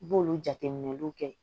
I b'olu jateminɛliw kɛ